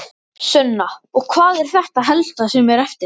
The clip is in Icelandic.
Sunna: Og hvað er þetta helsta sem er eftir?